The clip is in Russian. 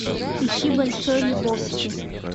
ищи большой либовски